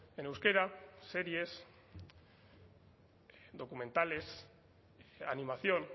en euskera series documentales animación